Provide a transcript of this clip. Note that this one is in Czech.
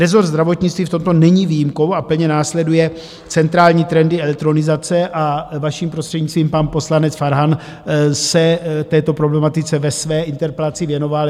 Rezort zdravotnictví v tomto není výjimkou a plně následuje centrální trendy elektronizace a, vaším prostřednictvím, pan poslanec Farhan se této problematice ve své interpelaci věnoval.